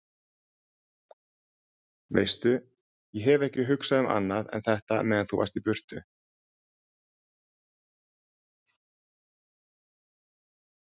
Veistu. ég hef ekki hugsað um annað en þetta meðan þú varst í burtu.